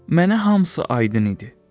Mənə hamısı aydın idi.